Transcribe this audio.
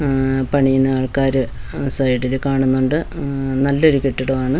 ഉം പണിയുന്ന ആൾക്കാര് സൈഡില് കാണുന്നുണ്ട് ഉം നല്ലൊരു കെട്ടിടമാണ്.